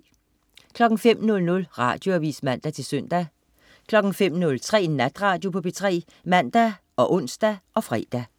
05.00 Radioavis (man-søn) 05.03 Natradio på P3 (man og ons og fre)